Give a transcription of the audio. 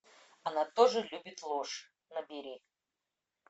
она тоже любит ложь набери